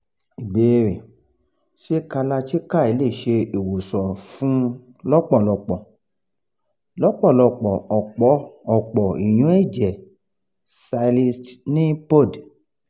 ìbéèrè: ṣé kalarchikai le se iwosan fun lọpọlọpọ lọpọlọpọ ọ̀pọ̀ ìyún-ẹ̀jẹ̀ cysts ni pcod